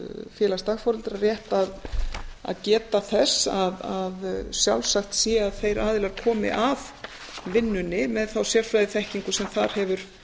félags dagforeldra rétt að geta þess að sjálfsagt sé að þeir aðilar komi að vinnunni með þá sérfræðiþekkingu sem þar hefur